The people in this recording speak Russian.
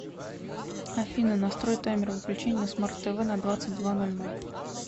афина настрой таймер выключения на смарт тв на двадцать два ноль ноль